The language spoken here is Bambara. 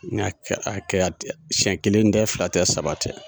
N'a kɛra ten sɛn kelen tɛ fila tɛ saba tɛ